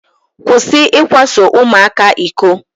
Kwụsị ikwaso ụmụaka iko.